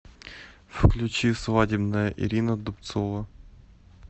включи свадебная ирина дубцова